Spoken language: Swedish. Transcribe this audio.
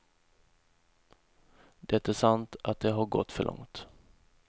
Det är sant att det har gått för långt.